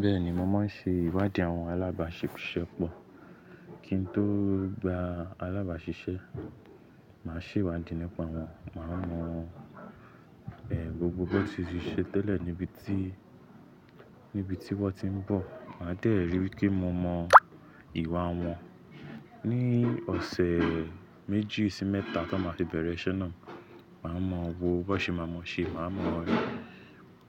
Bẹ́ẹ̀ni, mo máa ń ṣe ìwádìí àwọn alábàáṣiṣẹ́ pọ̀. Kí n tó gba alábàáṣiṣẹ́, màá ṣèwádìí nípa wọn, màá mọ eh gbogbo bó tí ṣe ṣe tẹ́lẹ̀ níbi tí, níbi tí wọ́n ti ń bọ̀. Màá dẹ̀rí wipe mo mọn ìwà wọn. Ni ọ̀sẹ̀ méjì sí mẹ́ta tó máa fi bẹ̀rẹ̀ iṣẹ́ náà, màá mọ wò bó ṣe máa mọ ṣe, màá mọ